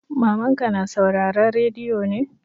Mamanka na sauraren rediyo ne?